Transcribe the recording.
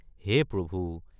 হে প্ৰভু!